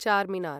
Charminar